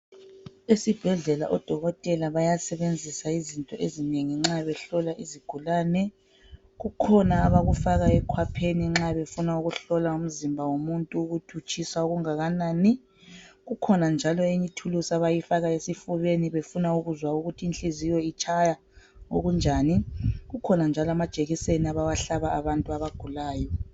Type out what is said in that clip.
Esibhedlela odokotela bayasebenzisa izinto ezinengi nxa behlola izigulane. Kukhona abakufaka ekhwapheni nxa befuna ukuhlola umzimba womuntu ukuthutshisa okungakanani. Kukhona njalo eyinye ithulusi abayifaka esifubeni befuna ukuzwa ukuthi inhliziyo itshaya okunjani, kukhona njalo amajekiseni abawahlaba abantu abagulayo.